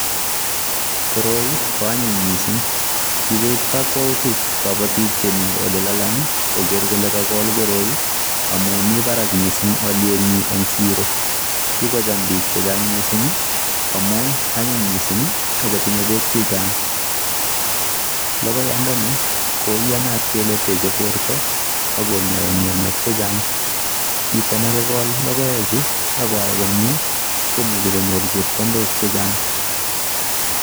Koroi koanyiny mising. Kikoib kakwautik kabotik chemi olelalang koker kole kakol koroi omi mi barak mising olyetnyi eng siro. Kikocham bik chechang mising amu anyiny' mising akotinye bek chechang. Lokoiyandani koiyanat kele techei borto akonyai mianwek chechang. Chito nekakol logoechu akoai komie komuchi konyor chepkondok chechang.